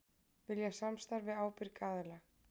Vilja samstarf við ábyrga aðila